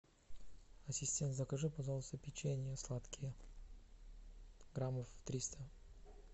ассистент закажи пожалуйста печенье сладкое граммов триста